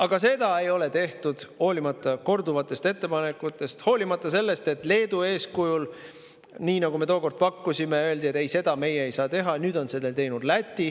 Aga seda ei ole tehtud, hoolimata korduvatest ettepanekutest, hoolimata sellest, et Leedu eeskujul – kui me tookord seda pakkusime, öeldi, et ei, seda me ei saa teha – on nüüd selle teinud Läti.